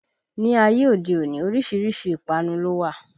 Ni ayé òde òní, orísìírísìí ìpanu ló wà